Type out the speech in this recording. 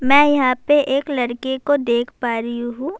میں یہاں پر ایک لڑکے کو دیکھ پا رہی ہوں-